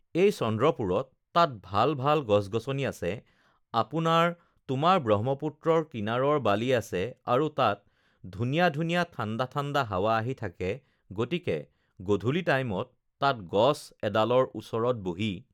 এই চন্দ্ৰপুৰত তাত ভাল ভাল গছ-গছনি আছে আপোনাৰ তোমাৰ ব্ৰহ্মপুত্ৰৰ কিনাৰৰ বালি আছে আৰু তাত ধুনীয়া ধুনীয়া ঠাণ্ডা ঠাণ্ডা হাৱা আহি থাকে গতিকে গধূলি টাইমত তাত গছ এডালৰ ওচৰত বহি